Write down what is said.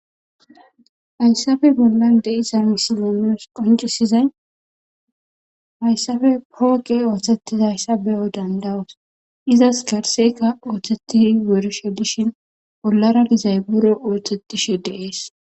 Hayssappe bollan de'zza missile nus qoncisizay hayssape foqqe othethizayssa beo' dandao'ss. Izzasikka garsekka osethizi wurishe dishin bollara de'zay biro othethishe de'ss.